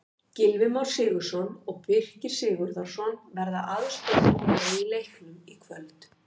Gylfi Már Sigurðsson og Birkir Sigurðarson verða aðstoðardómarar í leiknum í kvöld.